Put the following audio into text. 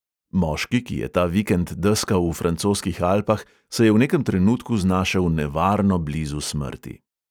Moški, ki je ta vikend deskal v francoskih alpah, se je v nekem trenutku znašel nevarno blizu smrti.